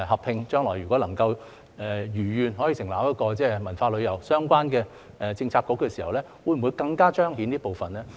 如果將來能夠設立一個文化旅遊相關的政策局時，會否更加彰顯這部分呢？